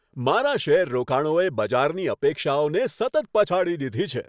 મારા શેર રોકાણોએ બજારની અપેક્ષાઓને સતત પછાડી દીધી છે.